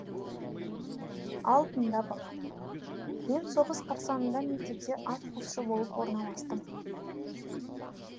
ал тыңда балам мен соғыс қарсаңында мектепке атқосшы болып орналастым